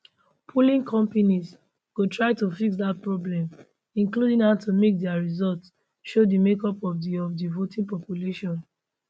polling companies go try to fix dat problem including how to make dia results show di makeup of di of di voting population